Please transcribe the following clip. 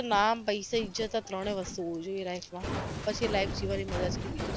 નામ પૈસો ઈજ્જત આ ત્રણે વસ્તુ હોવુ જોઈએ life માં પછી life જીવવાની મજા જ કઈંક બીજી છે